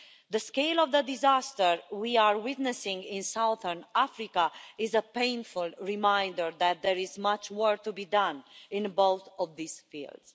The scale of the disaster we are witnessing in southern Africa is a painful reminder that there is much work to be done in both of these fields.